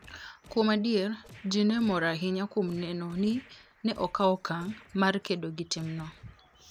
Kuom adier, ji ne mor ahinya kuom neno ni ne okaw okang ' mar kedo gi timno.